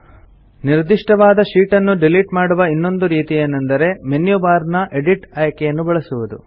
ನಿರ್ದಿಷ್ಟವಾದ ಶೀಟ್ ಅನ್ನು ಡಿಲಿಟ್ ಮಾಡುವ ಇನ್ನೊಂದು ರೀತಿಯೇನೆಂದರೆ ಮೆನ್ಯು ಬಾರ್ ನ ಎಡಿಟ್ ಆಯ್ಕೆಯನ್ನು ಬಳಸುವುದು